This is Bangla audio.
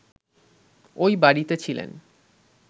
ঐ বাড়ীতে ছিলেন